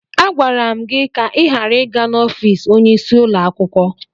Agwara m gị ka ị ghara ịga n'ọfiisi onyeisi ụlọ akwụkwọ!